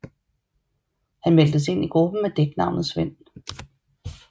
Han meldtes ind i gruppen med dæknavnet Svend